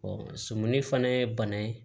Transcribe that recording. sɔmin fana ye bana ye